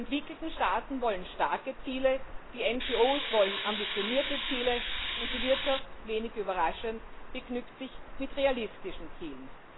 Die entwickelten Staaten wollen starke Ziele, die NGO wollen ambitionierte Ziele, und die Wirtschaft, wenig überraschend, begnügt sich mit realistischen Zielen.